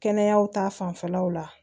Kɛnɛya ta fanfɛlaw la